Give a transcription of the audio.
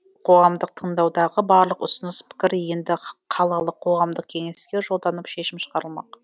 қоғамдық тыңдаудағы барлық ұсыныс пікір енді қалалық қоғамдық кеңеске жолданып шешім шығарылмақ